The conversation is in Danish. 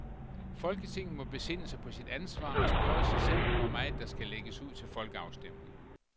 Folketinget må besinde sig på sit ansvar og spørge sig selv, hvor meget der skal lægges ud til folkeafstemning.